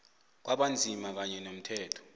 kwabanzima kanye nomthetho